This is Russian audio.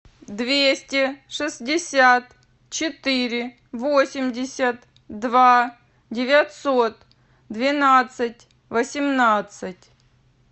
двести шестьдесят четыре восемьдесят два девятьсот двенадцать восемнадцать